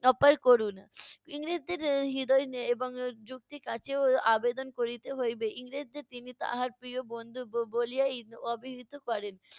অপার করুণ। ইংরেজদের এর হৃদয় এর এবং যুক্তি আবেদন করিতে হইবে। ইংরেজদের তিনি তাহার প্রিয় বন্ধু ব~ বলিয়াই অবিহিত করেন।